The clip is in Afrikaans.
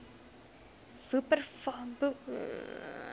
wupperthal tea court